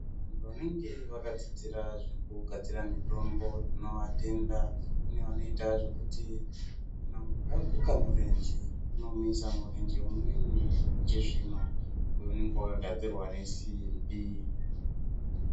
Vanenge vakadzidzira zvekugadzire mitombo tinovatenda. Kune vanoita zvekuti kana muntu aguka murenje , vanomuisa murenje umweni ikezvino unenge wakagadzirwa ngesimbi.